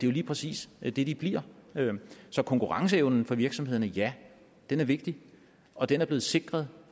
jo lige præcis det de de bliver så konkurrenceevnen for virksomhederne ja den er vigtig og den er blevet sikret